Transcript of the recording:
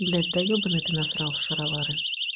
блять да ёбанный ты насрал шаровары